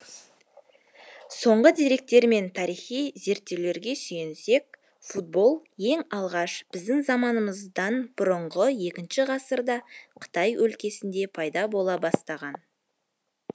соңғы деректер мен тарихи зерттеулерге сүйенсек футбол ең алғаш біздің заманыздан бұрынғы екінші ғасырда қытай өлкесінде пайда бола бастаған